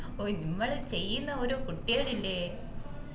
ഓ മ്മള് ചെയ്യുന്ന ഒരു കുട്ടിയാല് ഇല്ലേ